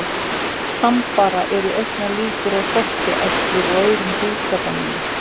Samfara eru auknar líkur á sortuæxlum og öðrum húðkrabbameinum.